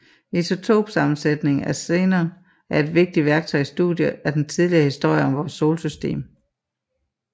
Isotopsammensætningen af xenon er et vigtigt værktøj i studiet af den tidlige historie om vores solsystem